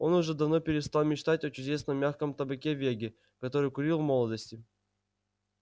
он уже давно перестал мечтать о чудесном мягком табаке веги который курил в молодости